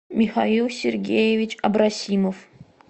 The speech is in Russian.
михаил сергеевич абрасимов